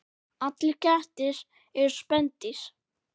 Allir kettir eru spendýr